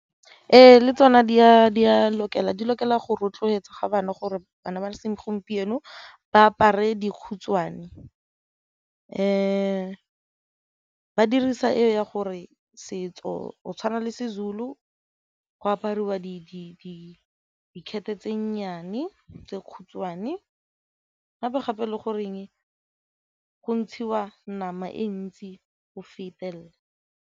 Ee, le tsona di a lokela di lokela go rotloetsa ga bana gore bana ba segompieno ba apare . Ba dirisa eo ya gore setso o tshwana le seZulu go apariwa dikete tse nnyane, tse khutshwane gape-gape e le goreng go ntshiwa nama e ntsi go fetelela.